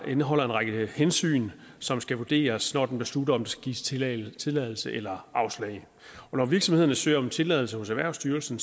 indeholder en række hensyn som skal vurderes når den beslutter om der skal gives tilladelse tilladelse eller afslag når virksomhederne søger om tilladelse hos erhvervssytelsen